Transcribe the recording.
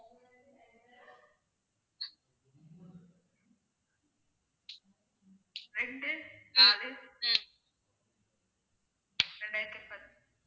ரெண்டு நாலு இரண்டாயிரத்தி பத்~